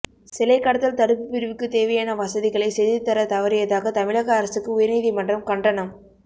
சிலைக்கடத்தல் தடுப்பு பிரிவுக்கு தேவையான வசதிகளை செய்துதர தவறியதாக தமிழக அரசுக்கு உயர்நீதிமன்றம் கண்டனம்